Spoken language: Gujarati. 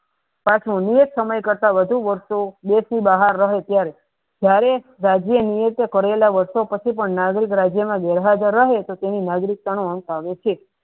પાંચમો નિયત સમય કરતા વધુ વર્ષો દેશની નહાર રહે ત્યેર જયારે રાજ્ય નિવેશો કરેલા પછી પણ નાગરિકના વ્યવહા દારા આવે તો તેની નાગરિકતાનો અંત આવે છે.